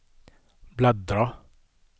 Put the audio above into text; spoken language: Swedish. bläddra